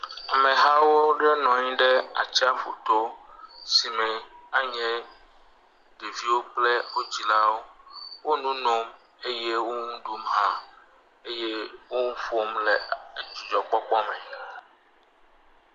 Ameha aɖewo nɔ anyi ɖe atsiaƒu to si me anye ɖeviwo kple wo dzilawo. Wo nu nom eye wo nu ɖum hã eye wo nu ƒom le dzidzɔkpɔkpɔ me.